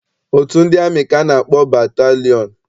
Otu ndị amị ka a na-akpọ batalịọn.